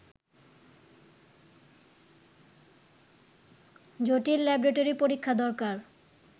জটিল ল্যাবরেটরি পরীক্ষা দরকার